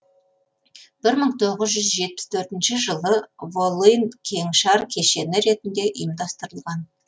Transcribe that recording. бір мың тоғыз жүз жетпіс төртінші жылы волын кеңшар кешені ретінде ұйымдастырылған